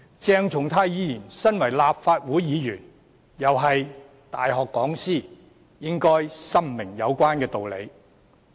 鄭松泰議員身為立法會議員，亦是大學講師，應該深明有關道理。